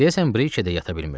Deyəsən Brikədə yata bilmirdi.